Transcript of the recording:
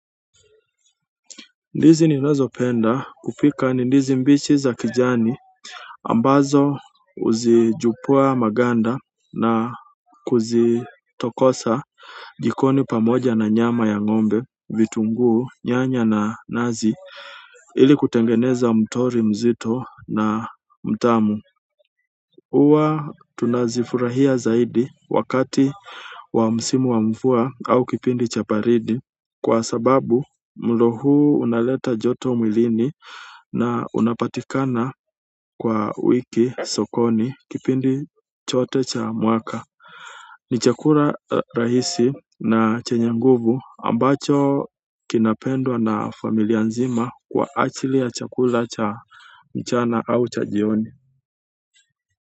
Ndizi ninazopenda kupika ni ndizi mbichi za kijani. Ambazo huzimenya maganda na kuzitokosa jikoni pamoja na nyama ya ng'ombe, vitunguu, nyanya na nazi ili kutengeneza mtori mzito na mtamu. Huwa tunazifurahia zaidi wakati wa msimu wa mvua au kipindi cha baridi kwa sababu mlo huu unaleta joto mwilini na unapatikana kwa wingi sokoni kipindi chote cha mwaka. Ni chakula rahisi na chenye nguvu ambacho kinapendwa na familia nzima kwa ajili ya chakula cha mchana au cha jioni.